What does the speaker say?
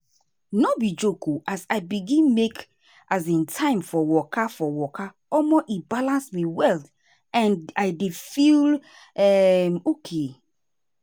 no be joke o as i begin make um time for waka for waka omo e balance me well and i dey feel um okay.